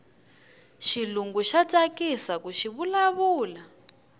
xilungu xa tsakisaku xivula vula